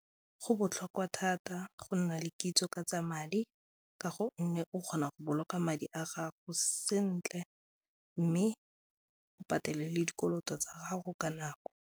Go botlhokwa thata go nna le kitso ka tsa madi ka go nne o kgona go boloka madi a gago sentle mme o patele le dikoloto tsa gago ka nako.